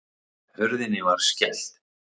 Hurðinni var skellt.